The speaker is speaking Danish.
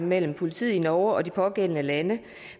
mellem politiet i norge og de pågældende lande